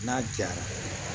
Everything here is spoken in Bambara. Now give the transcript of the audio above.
N'a jara